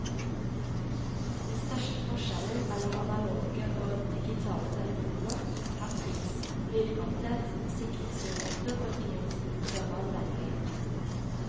Den største forskjellen mellom analoge og digitale telefoner, er pris, lydkvalitet, sikringsmuligheter og ikke minst større anvendelighet.